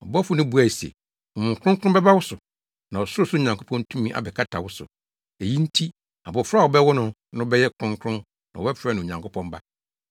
Ɔbɔfo no buae se, “Honhom Kronkron bɛba wo so na Ɔsorosoro Nyankopɔn tumi abɛkata wo so, eyi nti abofra a wobɛwo no no bɛyɛ kronkron na wɔbɛfrɛ no Onyankopɔn Ba.